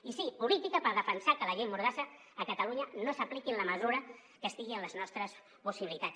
i sí política per defensar que la llei mordassa a catalunya no s’apliqui en la mesura que estigui en les nostres possibilitats